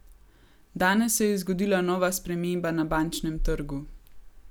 Danes se je zgodila nova sprememba na bančnem trgu.